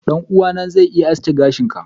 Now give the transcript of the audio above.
ɗan'uwana zai iya aske gashin ka.